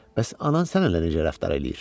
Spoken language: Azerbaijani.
Bəs anan sənə necə rəftar eləyir?